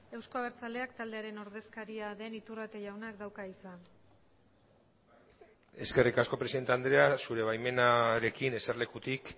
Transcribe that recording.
euzko abertzaleak taldearen ordezkaria den iturrate jaunak dauka hitza eskerrik asko presidente andrea zure baimenarekin eserlekutik